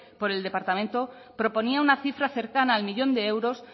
por el departamento proponía una cifra cercana al millón de euros